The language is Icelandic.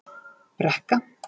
Brekka